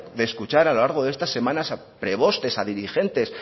de escuchar a lo largo de estas semanas a prebostes a dirigentes